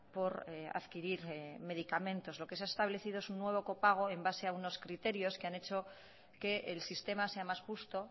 por adquirir medicamentos lo que se ha establecido es un nuevo copago en base a unos criterios que han hecho que el sistema sea más justo